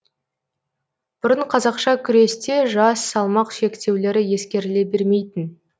бұрын қазақша күресте жас салмақ шектеулері ескеріле бермейтін